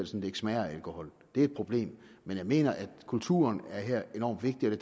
så det ikke smager af alkohol det er et problem men jeg mener at kulturen er enorm vigtig og det